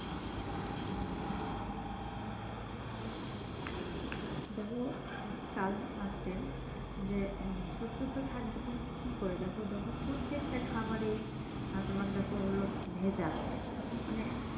দেখো যে উম সুস্থ তো থাকবে তুমি কি করে দেখো প্রত্যেকটা খাবারেই তোমার দেখো হলো ভেজাল মানে